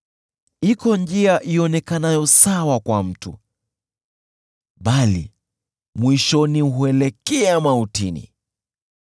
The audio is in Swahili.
Iko njia ionekanayo kuwa sawa kwa mtu, bali mwisho wake huelekeza mautini.